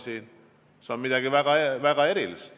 See on midagi väga erilist!